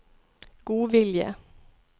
godvilje